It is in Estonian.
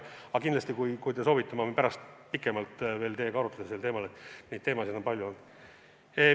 Aga kindlasti, kui te soovite, ma võin pärast pikemalt teiega arutleda sellel teemal, neid näiteid on palju.